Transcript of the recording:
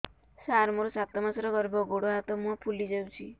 ସାର ମୋର ସାତ ମାସର ଗର୍ଭ ଗୋଡ଼ ହାତ ମୁହଁ ଫୁଲି ଯାଉଛି